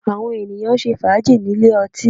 Àwọn ènìyàn ń ṣe fàájì nílé ọtí